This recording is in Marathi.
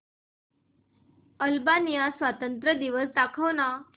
अल्बानिया स्वातंत्र्य दिवस दाखव ना